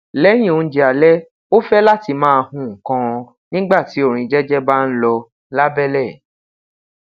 lẹyin ounjẹ alẹ o fẹ lati maa hun nnkan nigba ti orin jẹjẹ ba n lọ labẹlẹ